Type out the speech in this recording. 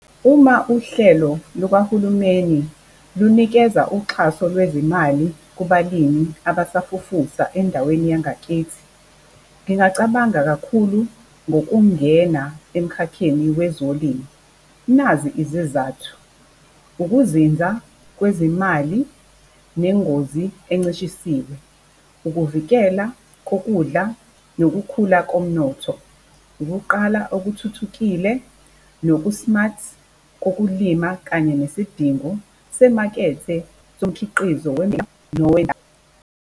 Uma uhlelo lukahulumeni lunikeza uxhaso lwezimali kubalimi abasafufusa endaweni yangakithi, ngingacabanga kakhulu ngokungena emikhakheni wezolimo. Nazi izizathu, ukuzinza kwezimali nengozi encishisiwe. Ukuvikela kokudla nokukhula komnotho. Ukuqala okuthuthukile noku-smart kokulima kanye nesidingo semakethe somkhiqizo.